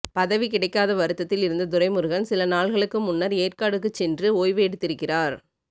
பதவி கிடைக்காத வருத்தத்தில் இருந்த துரைமுருகன் சில நாள்களுக்கு முன்னர் ஏற்காடுக்குச் சென்று ஓய்வு எடுத்திருக்கிறார்